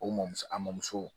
O mɔmuso amiso